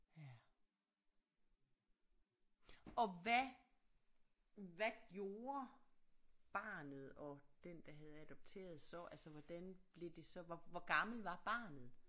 Ja og hvad hvad gjorde barnet og den der havde adopteret så altså hvordan blev det så hvor hvor gammel var barnet